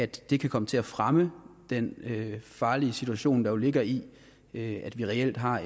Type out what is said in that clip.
det kan komme til at fremme den farlige situation der ligger i i at vi reelt har